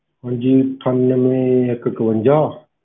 ਹਾਂਜੀ ਅਠਾਨਵੇਂ ਇੱਕ ਇੱਕਵੰਜਾ,